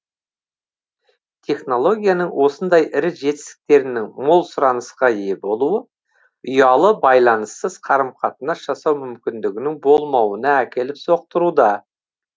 технологияның осындай ірі жетістіктерінің мол сұранысқа ие болуы ұялы байланыссыз қарым қатынас жасау мүмкіндігінің болмауына әкеліп соқтыруда